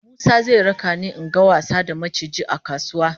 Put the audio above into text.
Musa zai raka ni in ga wasa da maciji a kasuwa